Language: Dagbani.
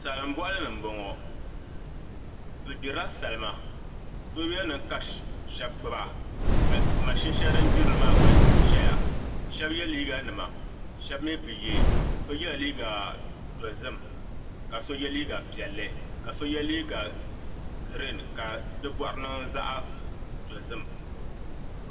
Salin boɣali ni n boŋo bi gbirila salima soobuli nim ka shab gbuba ka mashin shɛli din gbirili maa gba ʒɛya shab yɛ liiga nima shab mii bi yɛ so yɛ la liiga dozim ka so yɛ liiga piɛlli ka so yɛ liiga giriin ka di boɣari niŋ zaɣ dozim